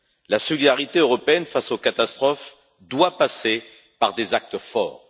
La solidarité européenne face aux catastrophes doit passer par des actes forts.